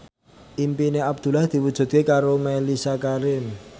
impine Abdullah diwujudke karo Mellisa Karim